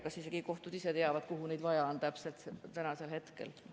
Ma ei tea, kas kohtud isegi teavad, kuhu neid tänasel hetkel täpselt vaja on.